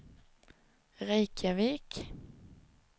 Reykjavik